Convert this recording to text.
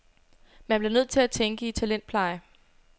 Man bliver nødt til at tænke i talentpleje.